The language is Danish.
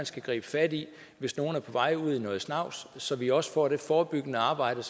skal gribe fat i hvis nogen er på vej ud i noget snavs så vi også får det forebyggende arbejde